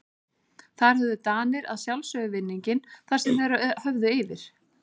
Þar höfðu Danir að sjálfsögðu vinninginn þar sem þeir höfðu yfir